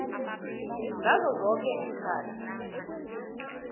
ngazo zoke iinkhathi